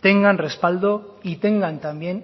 tengan respaldo y tengan también